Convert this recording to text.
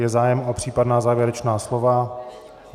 Je zájem o případná závěrečná slova?